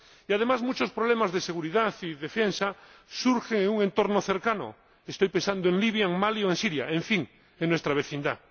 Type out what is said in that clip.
Y, además, muchos problemas de seguridad y defensa surgen en un entorno cercano —estoy pensando en Libia, en Mali o en Siria—, en fin, en nuestra vecindad.